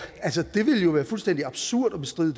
det ville jo være fuldstændig absurd at bestride